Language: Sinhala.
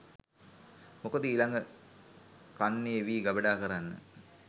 මොකද ඊළඟ කන්නේ වී ගබඩා කරන්න